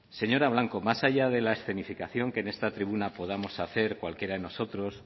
señora blanco más allá de la escenificación que en esta tribuna podamos hacer cualquier de nosotros